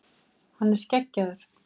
Hann er skeggjaður.